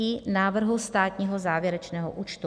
I návrhu státního závěrečného účtu;